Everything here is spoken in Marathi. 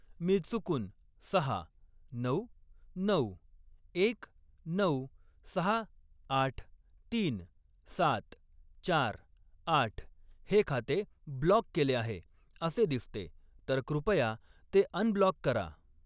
मी चुकून सहा, नऊ, नऊ, एक, नऊ, सहा, आठ, तीन, सात, चार, आठ हे खाते ब्लॉक केले आहे असे दिसते तर कृपया ते अनब्लॉक करा.